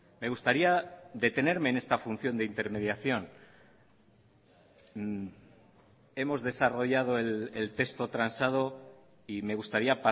me gustaría detenerme en esta función de intermediación hemos desarrollado el texto transado y me gustaría